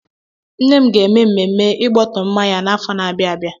Nne m ga-eme ememme Ịgbọtọmma ya n'afọ n'abia abịa.